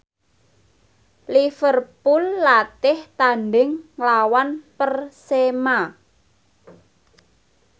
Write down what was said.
Liverpool latih tandhing nglawan Persema